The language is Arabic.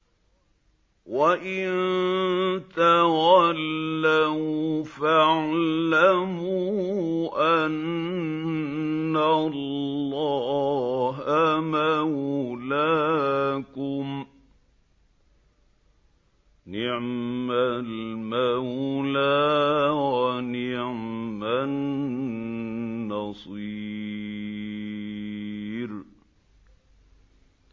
وَإِن تَوَلَّوْا فَاعْلَمُوا أَنَّ اللَّهَ مَوْلَاكُمْ ۚ نِعْمَ الْمَوْلَىٰ وَنِعْمَ النَّصِيرُ